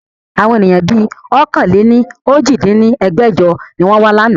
Àwọn ènìyàn bí ọ̀kan-lé-ní-ojì dín ní ẹgbẹ́jọ ni wọn wa láánaà